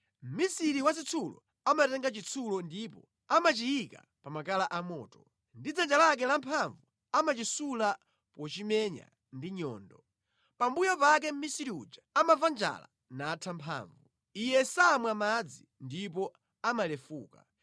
Mmisiri wa zitsulo amatenga chitsulo ndipo amachiyika pa makala amoto; ndi dzanja lake lamphamvu amachisula pochimenya ndi nyundo. Pambuyo pake mʼmisiri uja amamva njala natha mphamvu; iye samwa madzi, ndipo amalefuka.